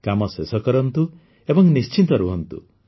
କାମ ଶେଷ କରନ୍ତୁ ଏବଂ ନିଶ୍ଚିନ୍ତ ରୁହନ୍ତୁ